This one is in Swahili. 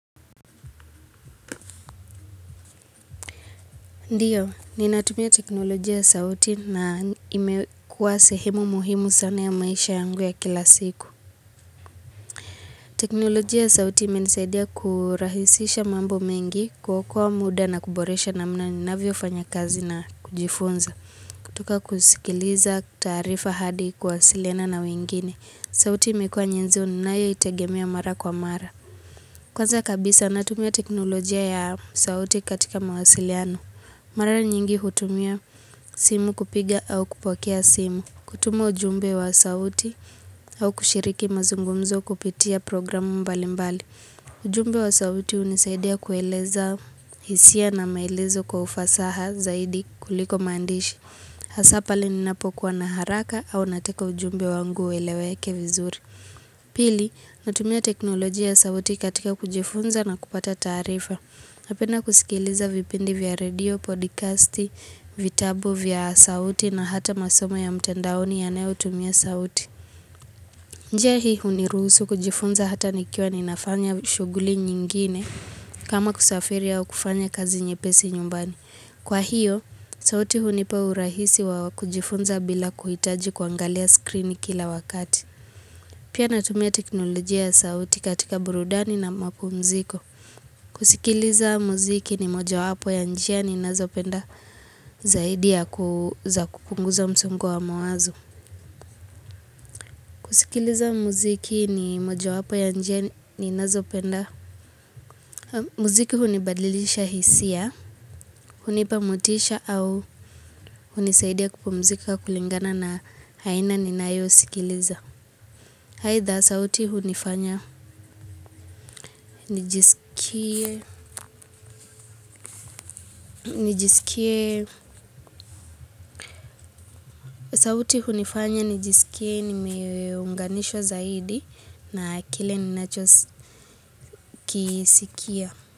Ndiyo, ninatumia teknolojia ya sauti na imekuwa sehemu muhimu sana ya maisha yangu ya kila siku. Teknolojia ya sauti imenisaidia kurahisisha mambo mengi kuokoa muda na kuboresha namna ninavyofanya kazi na kujifunza. Kutoka kusikiliza taarifa hadi kuwasiliana na wengine. Sauti imekuwa nyezoni nayo itegemea mara kwa mara. Kwanza kabisa natumia teknolojia ya sauti katika mawasiliano. Mara nyingi hutumia simu kupiga au kupokea simu, kutuma ujumbe wa sauti au kushiriki mazungumzo kupitia programu mbali mbali. Ujumbe wa sauti hunisaidia kueleza hisia na maelezo kwa ufasaha zaidi kuliko maandishi. Hasaa pale ninapokuwa na haraka au nataka ujumbe wangu ueleweke vizuri. Pili, natumia teknoloji ya sauti katika kujifunza na kupata taarifa. Napenda kusikiliza vipindi vya redio, podcasti, vitabu vya sauti na hata masoma ya mtendaoni yayotumia sauti. Nje hii huniruhusu kujifunza hata nikiwa ninafanya shughuli nyingine kama kusafiri au kufanya kazi nyepesi nyumbani. Kwa hiyo, sauti hunipa urahisi wa kujifunza bila kuhitaji kuangalia screen kila wakati. Pia natumia teknolojia ya sauti katika burudani na mapumziko. Kusikiliza muziki ni mojawapo ya njia ninazopenda zaidi ya kuu za kupunguza msongo wa mawazo kusikiliza muziki ni mojawapo ya njia ni ninazopenda muziki hunibadilisha hisia, hunipa motisha au hunisaidia kupumzika kulingana na haina ninayo sikiliza. Haidha sauti hunifanya, nijisikie, nijisikie, sauti hunifanya, nijisikie, nimeunganishwa zaidi na kile ninachosi kisikia.